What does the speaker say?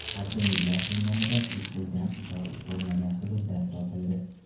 Barcha umidlar so‘nganida it uydan uzoq bo‘lmagan hududdan topildi.